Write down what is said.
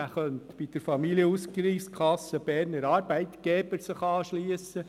Dieser könnte sich bei der Familienausgleichskasse Berner Arbeitgeber anschliessen.